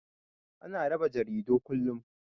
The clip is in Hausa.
Ana rarraba jaridu kullum.